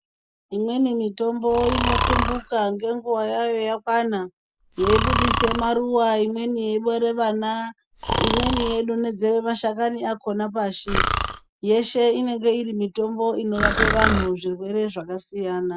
Imweni mitombo inotumbuka ngenguwa yayo yakwana, yeibudise maruva. Imweni yeibare vana, imweni yeidonhedzera mashakani akhona pashi. Yeshe inenge irimitombo inorape vanhu zvirwere zvakasiyana.